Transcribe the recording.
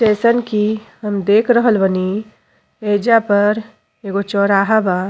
जइसन की हम देख रहल बानी। ऐजा पर एगो चौराहा बा।